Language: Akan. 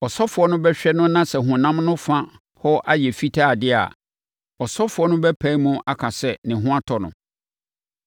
Ɔsɔfoɔ no bɛhwɛ no na sɛ honam no fa hɔ ayɛ fitaa deɛ a, ɔsɔfoɔ no bɛpae mu aka sɛ ne ho atɔ no.